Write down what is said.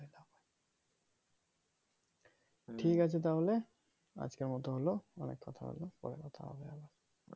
ঠিক আছে তাহলে আজকের মতো হলো অনেক কথা হবে পরে কথা হবে আবার ।